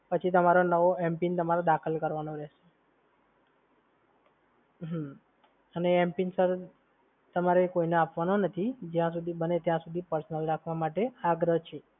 પછી તમારો નવો mpin તમારે દાખલ કરવાનો રહેશે. હમ્મ અને એ mpin સર તમારે કોઈને આપવાનો નથી. જય સુધી બને ત્યાં સુધી personal રાખવા માટે આગ્રહ છે. હા સર.